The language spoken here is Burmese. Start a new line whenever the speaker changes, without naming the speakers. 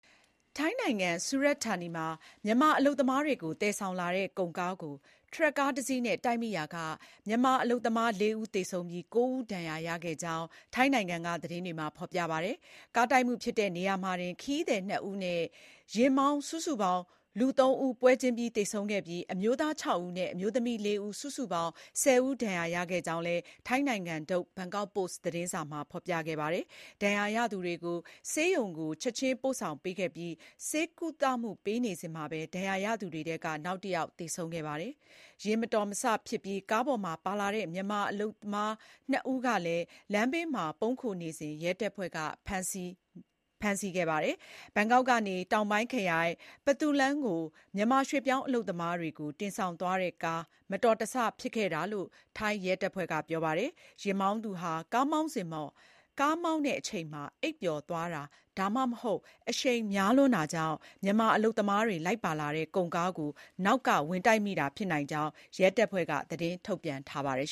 ထိုင်းနိုင်ငံ Surat Thani မှာ မြန်မာ အလုပ်သမားတွေကို သယ်ဆောင်လာတဲ့ ကုန်ကားကို ထရပ်ကား တစီးနဲ့ တိုက်မိရာက မြန်မာ အလုပ်သမား ၄ ဦးသေဆုံးပြီး ၉ ဦးဒဏ်ရာရခဲ့ကြောင်း နိုဝင်ဘာ ၆ ရက် ထုတ် ထိုင်းနိုင်ငံက သတင်းတွေမှာ ဖော်ပြပါတယ်။ ကားတိုက်မှုဖြစ်တဲ့ နေရာမှာတင်ခရီးသည် ၂ ဦးနဲ့ ယဉ်မောင်း စုစုပေါင်း လူ ၃ ဦးပွဲချင်းပြီး သေဆုံးခဲ့ပြီး အမျိုးသား ၆ ဦးနဲ့ အမျိုးသမီး ၄ ဦး စုစုပေါင်း ၁၀ ဦး ဒဏ်ရာရခဲ့ကြောင်းလည်း ထိုင်းနိုင်ငံထုတ် ဘန်ကောက်ပို့စ်သတင်းစာမှာ ဖော်ပြခဲ့တာပါ။ ဒဏ်ရာရသူတွေကို ဆေးရုံကို ချက်ခြင်းပို့ဆောင်ပေးခဲ့ပြီး ဆေးကုသပေးနေစဉ်မှာပဲ ဒဏ်ရာရသူ တွေထဲက နောက်တယောက်သေဆုံးခဲ့တာပါ။ ယာဉ်မတော်တဆမှုဖြစ်ပြီး ကားပေါ်မှာပါလာတဲ့ မြန်မာလုပ်သားနှစ်ဦးကလည်း လမ်းဘေးမှာ ပုန်းခိုနေစဉ်မှာ ရဲတပ်ဖွဲ့က ဖမ်းဆီးမိခဲ့ပါတယ်။ ဘန်ကောက်ကနေ တောင်ပိုင်းခရိုင် Phatthalung ကို မြန်မာရွှေ့ပြောင်းအလုပ်သမားတွေကို တင်ဆောင်သွားတဲ့ကား မတော်တဆဖြစ်ခဲ့တာလို့လည်း ထိုင်းရဲတပ်ဖွဲ့က ပြောပါတယ်။ ယဉ်မောင်းသူဟာ ကားမောင်းစဉ်မှာ အိပ်ပျော်သွားတာ၊ ဒါမှမဟုတ် အရှိန်များလွန်တာကြောင့် မြန်မာအလုပ်သမားတွေ လိုက်ပါလာတဲ့ ကုန်ကားကို နောက်က ဝင်တိုက်မိတာဖြစ်နိုင်ကြောင်း ရဲတပ်ဖွဲ့က သတင်းထုတ်ပြန်ထားပါတယ်